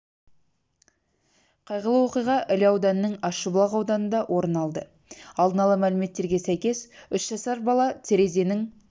қайғылы оқиға іле ауданының ащыбұлақ ауданында орын алды алдын ала мәліметтерге сәйкес үш жасар бала терезенің